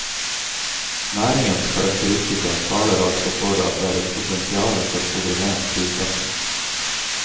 Næringens karakteristika taler altså for at det er et potensiale for koordinert prissetting.